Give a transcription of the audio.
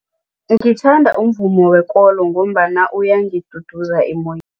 Ngithanda umvumo wekolo ngombana uyangiduduza